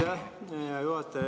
Aitäh, hea juhataja!